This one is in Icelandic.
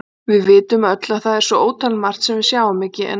Við vitum öll að það er svo ótalmargt sem við sjáum ekki en er samt.